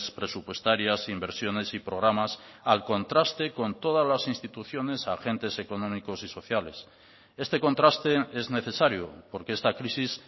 presupuestarias inversiones y programas al contraste con todas las instituciones agentes económicos y sociales este contraste es necesario porque esta crisis